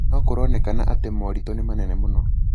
na kũronekana atĩ moritũ nĩ manene mũno.